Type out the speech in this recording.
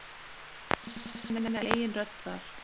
Finna sína eigin rödd þar.